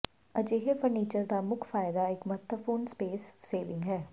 ਅਜਿਹੇ ਫਰਨੀਚਰ ਦਾ ਮੁੱਖ ਫਾਇਦਾ ਇੱਕ ਮਹੱਤਵਪੂਰਨ ਸਪੇਸ ਸੇਵਿੰਗ ਹੈ